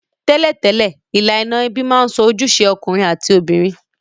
Tẹ́lẹ̀tẹ́lẹ̀, ilànà ebí ma n so ojúse okùnrin àti obìnrin